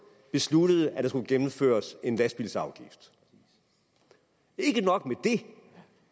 besluttede at der skulle gennemføres en lastbilsafgift og ikke nok med det